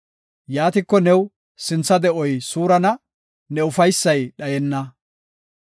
Yaatiko new sintha de7oy suurana; ne ufaysay dhayenna.